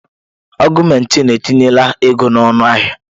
Augụmentịn etinye la ego na ọnụahịa.